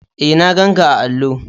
E, na ganƙa a allo.